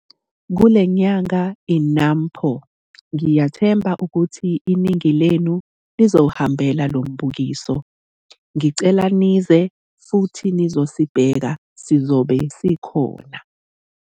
Kule Nyanga yi-NAMPO - ngiyathemba ukuthi iningi lenu lizowuhambela lo mbukiso. Ngicela nize futhi nizosibheka - sizobe khona.